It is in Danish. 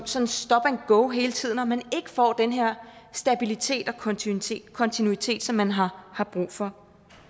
som stop and go hele tiden og at man ikke får den her stabilitet og kontinuitet kontinuitet som man har har brug for